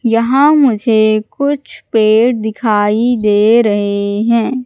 यहां मुझे कुछ पेड़ दिखाई दे रहे हैं।